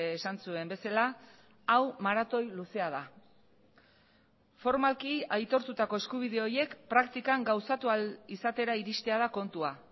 esan zuen bezala hau maratoi luzea da formalki aitortutako eskubide horiek praktikan gauzatu ahal izatera iristea da kontua